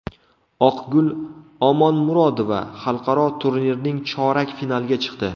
Oqgul Omonmurodova xalqaro turnirning chorak finaliga chiqdi.